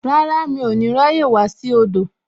Rárá, mi ò ní ráyè wá sí odò